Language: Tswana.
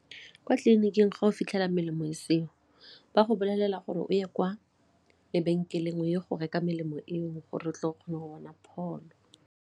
Kwa tleliniking ga o fitlhela melemo e seo ba go bolelela gore o ye kwa lebenkeleng o ye go reka melemo eo gore tle go kgone go bona pholo.